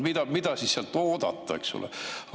No mida siis sealt oodata, eks ole?